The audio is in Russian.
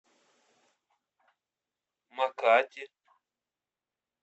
макати